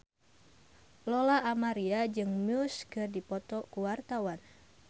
Lola Amaria jeung Muse keur dipoto ku wartawan